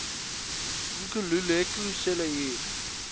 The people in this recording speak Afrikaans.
nkululeko cele hier